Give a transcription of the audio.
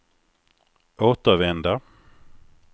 återvända